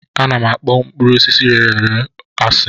A na-akpọ mkpụrụ osisi rere ure asị